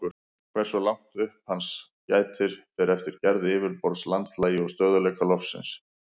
Hversu langt upp hans gætir fer eftir gerð yfirborðs, landslagi og stöðugleika lofsins.